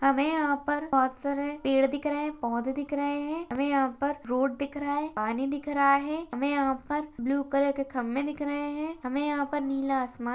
हमे यहां पर बहुत सारे पेड़ दिख रहे हैं पौधे दिख रहे है हमें यहां पर रोड दिख रहा है पानी दिख रहा है हमें यहां पर ब्लू कलर के खंभें दिख रहे हैं हमें यहां पर नीला आसमान--